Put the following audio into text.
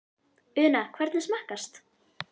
Una, hvernig smakkast?